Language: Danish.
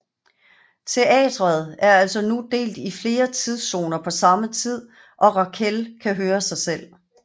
Teatret er altså nu delt i flere tidszoner på samme tid og Raquelle kan høre sig selv